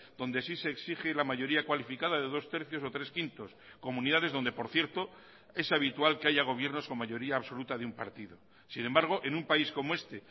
donde sí se exige la mayoría cualificada de dos tercios o tres quintos comunidades donde por cierto es habitual que haya gobiernos con mayoría absoluta de un partido sin embargo en un país como este